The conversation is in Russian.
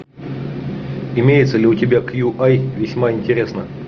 имеется ли у тебя кью ай весьма интересно